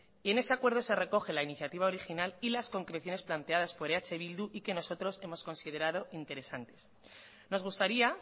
y en ese acuerdo se recoge la iniciativa original y las concreciones planteadas por eh bildu y que nosotros hemos considerado interesantes nos gustaría